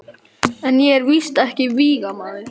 En ég er víst ekki vígamaður.